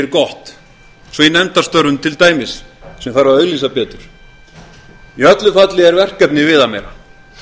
gott eins og í nefndarstörfum til dæmis sem þarf að auglýsa betur í öllu falli er verkefnið viðameira